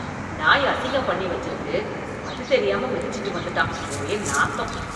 நாய் அசிங்கம் பண்ணி வச்சிருக்கு அது தெரியாம மிதிச்சிட்டு வந்துட்டான், ஒரே நாத்தம்.